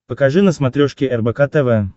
покажи на смотрешке рбк тв